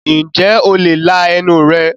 ǹjẹ́ o le la ẹnu rẹ̀?